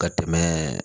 Ka tɛmɛ